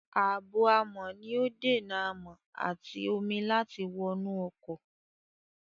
Ààbò-amọ̀ ni ó dènà amọ̀ àti omi láti wọnú ọkọ̀.